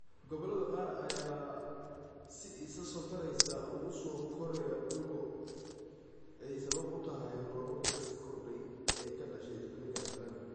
Gobollada qaar ayaa si isa soo taraysa ugu soo koraya dhul go� ay sabab u tahay roobabka sii kordhay ee ka dhashay isbedelka cimilada.